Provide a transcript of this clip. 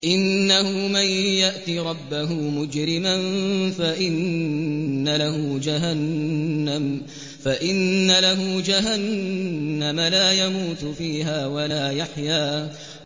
إِنَّهُ مَن يَأْتِ رَبَّهُ مُجْرِمًا فَإِنَّ لَهُ جَهَنَّمَ لَا يَمُوتُ فِيهَا وَلَا يَحْيَىٰ